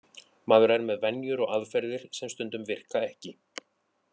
Maður er með venjur og aðferðir sem stundum virka ekki.